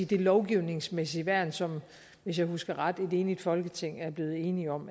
det lovgivningsmæssige værn som hvis jeg husker ret et enigt folketing er blevet enige om